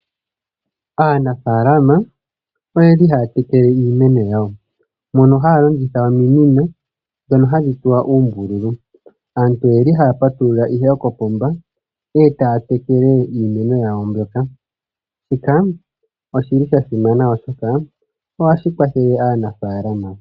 Aanafalama oyeli haya tekele iimeno yawo, mono haya longitha ominino dhono hadhi tsuwa uumbululu. Aantu oyeli ihe haya patulula kopomba eta tekele iimeno yawo mbyoka. Shika oshili hashi kwathele aanafalama.